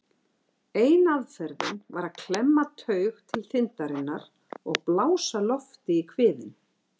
Ein aðferðin var að klemma taug til þindarinnar og blása lofti í kviðinn.